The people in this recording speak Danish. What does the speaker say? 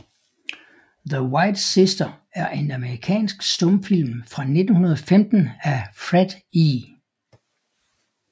The White Sister er en amerikansk stumfilm fra 1915 af Fred E